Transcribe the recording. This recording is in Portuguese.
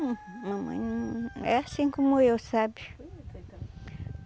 mamãe não... É assim como eu, sabe?